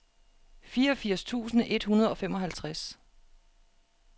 fireogfirs tusind et hundrede og femoghalvtreds